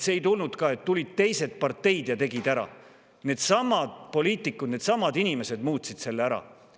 See ei olnud ka nii, et tulid teised parteid ja tegid ära, vaid needsamad poliitikud, needsamad inimesed muutsid selle ära.